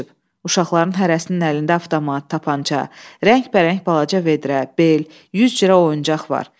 Uşaqların hərəsinin əlində avtomat, tapança, rəngbərəng balaca vedrə, bel, yüz cürə oyuncaq var.